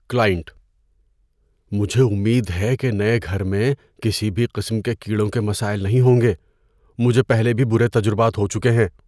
Client: "مجھے امید ہے کہ نئے گھر میں کسی بھی قسم کے کیڑوں کے مسائل نہیں ہوں گے؛ مجھے پہلے بھی برے تجربات ہو چکے ہیں۔"